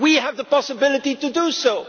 We have the possibility to